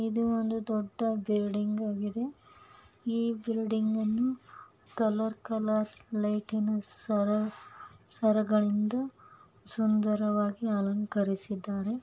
ಇದು ಒಂದು ದೊಡ್ಡ ಬಿಲ್ಡಿಂಗ್ಆಗಿದೆ . ಈ ಬಿಲ್ಡಿಂಗನ್ನು ಕಲರ್ ಕಲರ್ ಲೈಟಿ ನ ಸರ ಸರಗಳಿಂದ ಸುಂದರವಾಗಿ ಅಲಂಕರಿಸಿದ್ದಾರೆ.